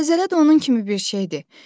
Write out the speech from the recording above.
Zəlzələ də onun kimi bir şeydir.